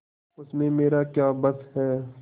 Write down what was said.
उसमें मेरा क्या बस है